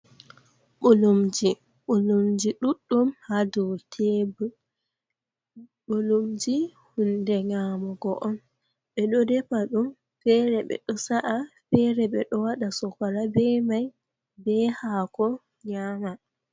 Mɓulumji, Mɓulumji ɗuɗɗum hadow tebur, mɓulumji huunde nyamugo on, ɓeɗo defa ɗum feere ɓeɗo sa'ah, feere ɓeɗo waɗa sokora be mai bee hako nyama.